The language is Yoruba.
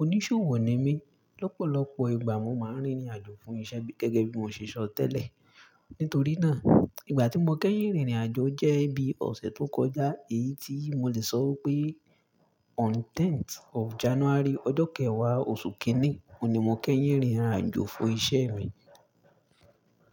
Oníṣòwò ni mí. Lọ́pọ̀lọpọ̀ ìgbà mo máa ń rìnrìn àjò fún iṣẹ́ gẹ́gẹ́ bí mo ṣe sọ tẹ́lẹ̀. Nítorí náà, ìgbà tí mo kẹ́yìn rìnrìn àjò jẹ́ bí ọ̀sẹ̀ tó kọjá yìí tí mo lè sọ pé on tenth of January, ọjọ́ kẹwàá oṣù kínní ni mo kẹ́yìn rìnrìn àjò fún iṣẹ́ mi.